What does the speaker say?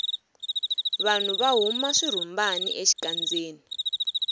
vanhu va huma swirhumbani exikandzeni